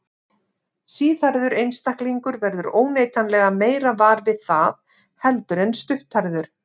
Síðhærður einstaklingur verður óneitanlega meira var við það heldur en stutthærður.